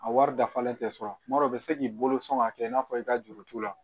A wari dafalen tɛ sɔrɔ tuma dɔ u bɛ se k'i bolo sɔn k'a kɛ i n'a fɔ i ka juru t'u la